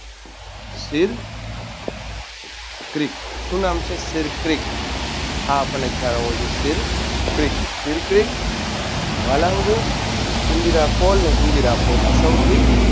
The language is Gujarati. શે ક્રિક શું નામ છે? શેરક્રિક આ આપણને ખ્યાલ હોવો જોઈએ શેરક્રિક શેરક્રિક વાલાન્ગુ ઇન્દિરા call અને ઇન્દિરા point